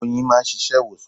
Oyin máa ń ṣiṣẹ́ ìwòsàn.